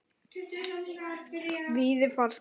Víði fannst það ekkert slæmt.